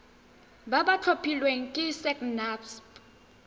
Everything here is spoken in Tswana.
ba ba tlhophilweng ke sacnasp